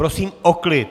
Prosím o klid!